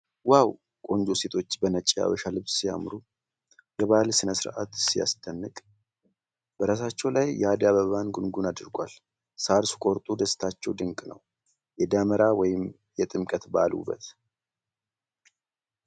ዋው ! ቆንጆ ሴቶች በነጭ የሀበሻ ልብስ ሲያምሩ ! የባህል ሥነ ሥርዓት ሲያስደንቅ ። በራሳቸው ላይ የአደይ አበባ ጉንጉን አድርገዋል። ሣር ሲቆርጡ ደስታቸው ድንቅ ነው። የደመራ ወይም የጥምቀት በዓል ውበት!